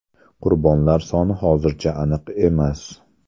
Qurbonlar soni hozircha aniq emas.